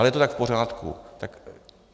Ale je to tak v pořádku.